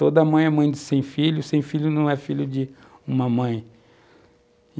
Toda mãe é mãe de 100 filhos, 100 filhos não é filho de uma mãe.